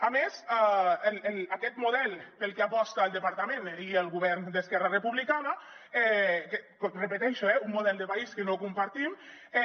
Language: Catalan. a més aquest model pel que aposten el departament i el govern d’esquerra republicana ho repeteixo un model de país que no compartim